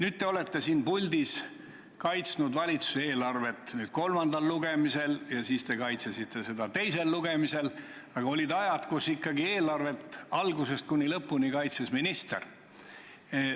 Te olete nüüd siin puldis kaitsnud valitsuse eelarvet kolmandal lugemisel ja te kaitsesite seda teisel lugemisel, aga olid ajad, kui ikkagi eelarvet algusest kuni lõpuni kaitses minister.